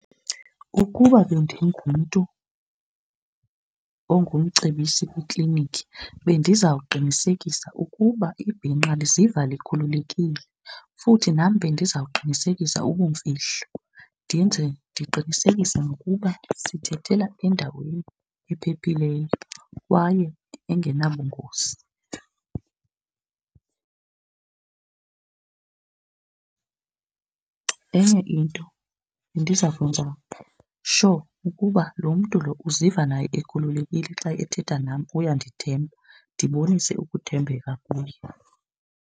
Ukuba bendingumntu ongumcebisi kwikliniki bendizawuqinisekisa ukuba ibhinqa liziva likhululekile. Futhi nam bendizawuqinisekisa ubumfihlo ndenze, ndiqinisekise nokuba sithethela endaweni ephephileyo kwaye engenabungozi. Enye into bendiza kwenza sure ukuba lo mntu lo uziva naye ekhululekile xa ethetha nam uyandithemba, ndibonise ukuthembeka kuye.